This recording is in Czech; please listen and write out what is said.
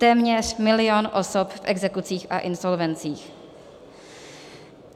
Téměř milion osob v exekucích a insolvencích.